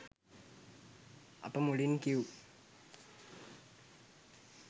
අප මුලින් කිව්